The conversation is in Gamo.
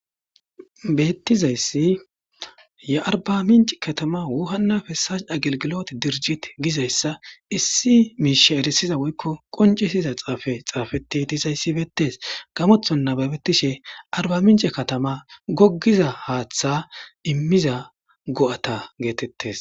bettizayssi ye arba minc katama wuhannafessas dagelgilot dirjit gizayssa issi miishe erisiza woykko qoncisiza xaafe xaafeti disayssi beettes gamothon nababettishe arba mince katama goggiza haaththa immiza go7ata geetettes